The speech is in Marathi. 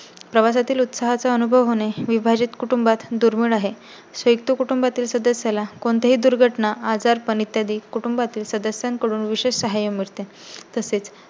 प्रवासातील उत्साहाचा अनुभव होणे विभाजित कुटुंबात दुर्मिळ आहे. संयुक्त कुटुंबातील सदस्या ला कोणतीही दुर्घटना, आजारपण इत्यादी कुटुंबातील सदस्यांकडून विशेष साहाय्य मिळते.